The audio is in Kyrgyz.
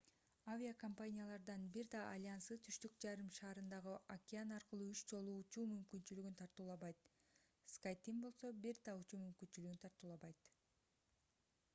авиакомпаниялардын бир да альянсы түштүк жарым шарындагы океан аркылуу үч жолу учуу мүмкүнчүлүгүн тартуулабайт skyteam болсо бир да учуу мүмкүнчүлүгүн тартуулабайт